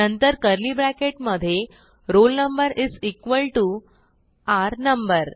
नंतर curly bracket मधे roll number is equal to r no